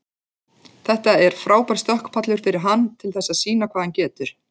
Þetta er frábær stökkpallur fyrir hann til þess sýna hvað hann getur.